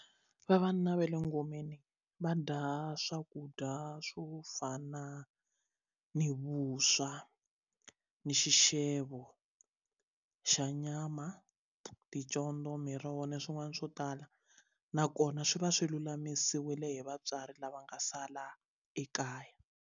Vavanuna va le ngomeni va dya swakudya swo fana ni vuswa ni xixevo xa nyama ticondzo miroho na swin'wana swo tala nakona swi va swi lulamisiwile hi vatswari lava nga sala ekaya.